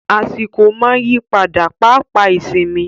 Àsìkò máa ń yí padà, pápá ìsinmi.